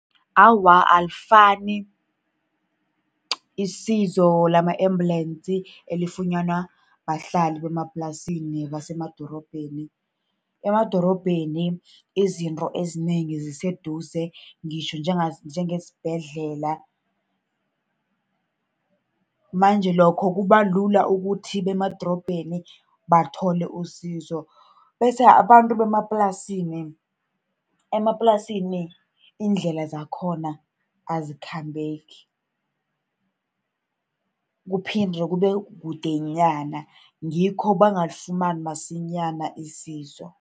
Awa, alifani isizo lama-ambulance elifunyanwa bahlali basemaplasini nebasemadorobheni. Emadorobheni izinto ezinengi ziseduze, ngitjho njengesibhedlela. Manje lokho kuba lula ukuthi emadorobheni bathole isizo. Bese abantu bemaplasini, emaplasini iindlela zakhona azikhambeki, kuphinde kube kude nyana. Ngikho bangalifumani msinyana isizo.